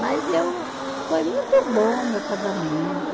Mas eu, foi muito bom o meu casamento.